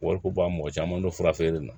Wariko bɔ a mɔgɔ caman dɔ fura feere la